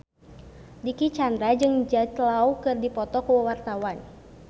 Dicky Chandra jeung Jude Law keur dipoto ku wartawan